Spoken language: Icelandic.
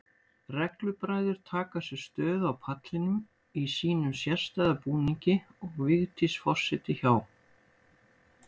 Reglubræður taka sér stöðu á pallinum í sínum sérstæða búningi og Vigdís forseti hjá.